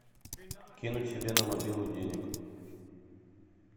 кинуть себе на мобилу денег